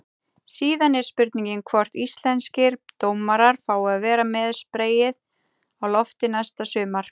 Síðan er spurning hvort íslenskir dómarar fái að vera með spreyið á lofti næsta sumar?